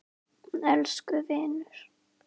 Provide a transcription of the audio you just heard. Elsku vinur!